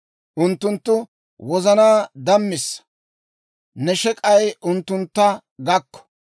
Unttunttu wozanaa dammissa! Ne shek'ay unttuntta gakko!